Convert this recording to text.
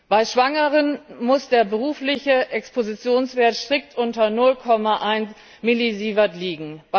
Bei Schwangeren muss der berufliche Expositionswert strikt unter 0,1 Millisievert liegen.